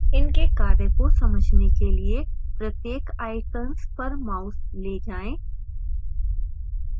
इनके कार्य को समझने के लिए प्रत्येक icons पर mouse ले जाएं